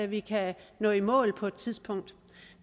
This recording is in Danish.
vi kan nå i mål på et tidspunkt